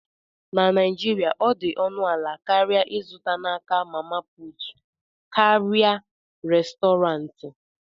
na Naijiria, ọ dị ọnụ ala karịa ịzụta n'aka "mama put" karịa Restọrantị